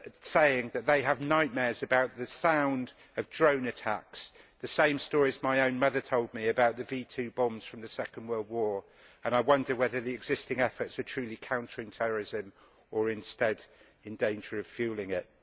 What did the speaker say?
saying that they have nightmares about the sound of drone attacks the same stories my own mother told me about the V2 bombs from the Second World War and I wonder whether the existing efforts are truly countering terrorism or are instead in danger of fuelling it.